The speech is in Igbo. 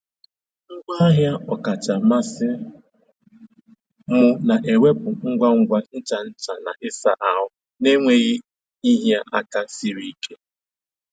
Ngwaahịa ọkacha mmasị m na-ewepụ ngwa ngwa ncha ncha na ịsa ahụ na-enweghị ịhịa aka siri ike.